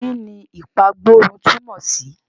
Kí ni ìpagbórun túmọ̀ sí?